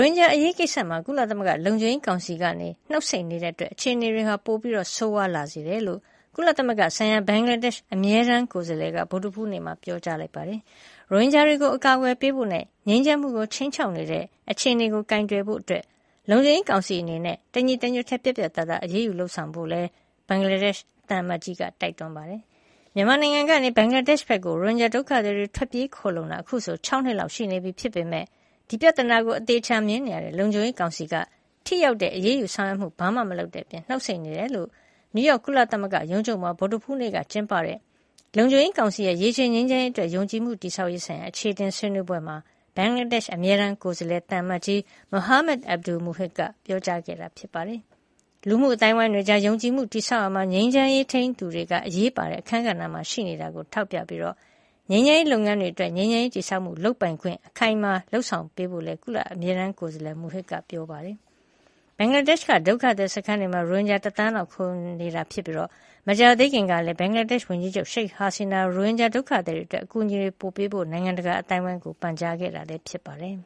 င်ဂျာအရေးကိစ္စမှာ ကုလသမဂ္ဂလုံခြုံရေးကောင်စီက နှုတ်ဆိတ်နေတာမို့ အခြေအနေတွေ ပိုပြီး ဆိုးဝါးလာစေတယ်လို့ ကုလသမဂ္ဂဆိုင်ရာ ဘင်္ဂလားဒေ့ရ်ှ အမြဲတမ်းကိုယ်စားလှယ်က ဗုဒ္ဓဟူးနေ့မှာ ပြောပါတယ်။ ရိုဟင်ဂျာတွေကို အကာအကွယ်ပေးဖိုနဲ့ ငြိမ်းချမ်းမှုကို ခြိမ်းခြောက်နေတဲ့ အခြေအနေကို ကိုင်တွယ်ဖို့ လုံခြုံရေးကောင်စီအနေနဲ့ တညီတညွတ်တည်း ပြတ်ပြတ်သားသား အရေးယူလုပ်ဆောင်ဖို့ကိုလည်း ဘင်္ဂလားဒေ့ရ်ှ သံအမတ်ကြီးက တိုက်တွန်းလိုက်ပါတယ်။ မြန်မာနိုင်ငံကနေ ဘင်္ဂလားဒေ့ရှ်ဘက်ကို ရိုဟင်ဂျာ ဒုက္ခသည်တွေ ထွက်ပြေးခိုလှုံလာတာ အခုဆို ၆ နှစ်လောက် ရှိနေပြီဖြစ်ပေမယ့် ဒီပြဿနာကို အသေအချာမြင်နေတဲ့ လုံခြုံရေးကောင်စီက ထိရောက်တဲ့ အရေးယူဆောင်ရွက်မှု ဘာမှ မလုပ်တဲ့အပြင် နှုတ်ဆိတ်နေတယ်လို့ နယူးရောက် ကုလသမဂ္ဂရုံးချုပ်မှာ ဗုဒ္ဓဟူးနေ့က ကျင်းပတဲ့ လုံခြုံရေးကောင်စီရဲ့ ရေရှည်ငြိမ်းချမ်းရေးအတွက် ယုံကြည်မှုတည်ဆောက်ရေးဆိုင်ရာ အခြေအတင်ဆွေးနွေးပွဲမှာ ဘင်္ဂလားဒေ့ရှ် အမြဲတမ်းကိုယ်စားလှယ် သံအမတ်ကြီး Muhammad Abdul Muhith က ပြောကြားခဲ့တာ ဖြစ်ပါတယ်။ လူမှုအသိုင်းအဝိုင်းတွေကြား ယုံကြည်မှုတည်ဆောက်ရာမှာ ငြိမ်းချမ်းရေး ထိန်းသူတွေက အရေးပါတဲ့ အခန်းကဏ္ဍမှာ ရှိနေတာကို ထောက်ပြပြီး ငြိမ်းချမ်းရေးလုပ်ငန်းတွေအတွက် ငြိမ်းချမ်းရေးတည်ဆောက်မှု လုပ်ပိုင်ခွင့် ခိုင်မာအောင် လုပ်ဆောင်ပေးဖို့လည်း ကုလအမြဲတမ်းကိုယ်စားလှယ် Muhith က ပြောဆိုပါတယ်။ ဘင်္ဂလားဒေ့ရှ်က ဒုက္ခသည်စခန်းတွေမှာ ရိုဟင်ဂျာ တသန်းလောက် ခိုလှုံနေတာဖြစ်ပြီး မကြာသေးခင်ကလည်း ဘင်္ဂလားဒေ့ရှ် ဝန်ကြီးချုပ် ရှိတ်ဟာစီနာက ရိုဟင်ဂျာဒုက္ခသည်တွေအတွက် အကူညီတွေ ပိုပေးကြဖို့ နိုင်ငံတကာ အသိုင်းဝိုင်းကို ပန်ကြားခဲ့တာဖြစ်ပါတယ်